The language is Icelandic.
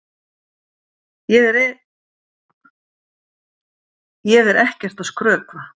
Ég er ekkert að skrökva!